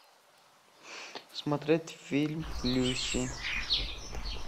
смотреть фильм люси